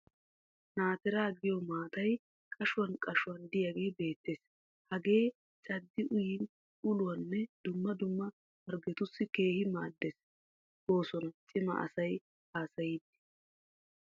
Naatiraa giyo maatay qashshuwan qashuwan diyagee beettes. Hagee caddi uyin uluwaanne dumma dumma harggetussi keehi maaddes goosona cima asay haasayiiddi.